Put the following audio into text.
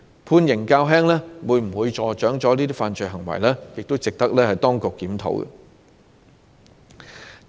判刑較輕會否助長這些犯罪行為，亦值得當局檢討。